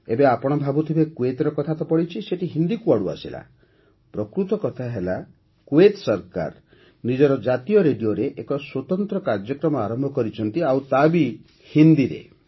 ଏବେ ଆପଣ ଭାବୁଥିବେ କୁଏତ୍ର କଥା ତ ପଡ଼ିଛି ସେଇଠି ହିନ୍ଦୀ କୁଆଡ଼ୁ ଆସିଲା ପ୍ରକୃତ କଥା ହେଲା କୁଏତ୍ ସରକାର ନିଜର ଜାତୀୟ ରେଡିଓରେ ଏକ ସ୍ୱତନ୍ତ୍ର କାର୍ଯ୍ୟକ୍ରମ ଆରମ୍ଭ କରିଛନ୍ତି ଆଉ ତା' ବି ହିନ୍ଦୀରେ